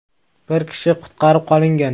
Bir kishi qutqarib qolingan.